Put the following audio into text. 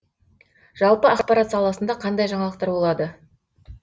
жалпы ақпарат саласында қандай жаңалықтар болады